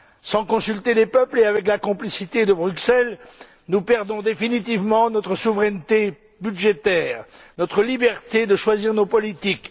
Sans consulter les peuples et avec la complicité du Parlement européen, nous perdons définitivement notre souveraineté budgétaire, notre liberté de choisir nos politiques.